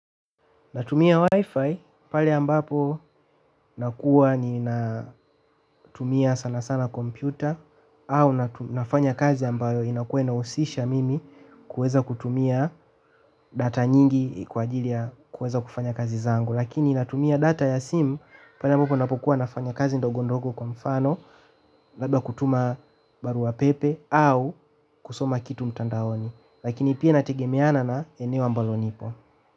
Natumia wifi pale ambapo nakuwa ninatumia sana sana kompyuta au nafanya kazi ambayo inakuwa inahusisha mimi kuweza kutumia data nyingi kwa ajili ya kuweza kufanya kazi zangu. Lakini natumia data ya simu pale ambapo napokuwa nafanya kazi ndogondogo kwa mfano labda kutuma barua pepe au kusoma kitu mtandaoni. Lakini pia inategemeana na eneo ambalo nipo.